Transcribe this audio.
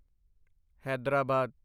Hyderabad